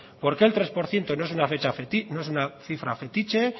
por qué el tres por ciento no es una cifra fetiche